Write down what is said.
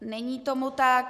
Není tomu tak.